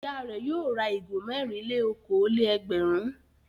Ìyá rẹ̀ yóò ra ìgò mẹ́rin-lé-okòó-lé-ẹgbẹ̀rún.